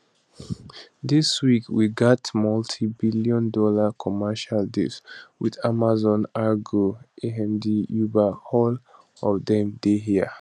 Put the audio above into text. dis week we get multi billion dollar commercial deals with amazon argo amd uber all of dem dey here